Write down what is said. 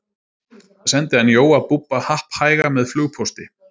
sendi hann jóa búbba happhæga með flugpósti